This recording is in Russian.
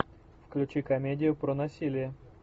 включи комедию про насилие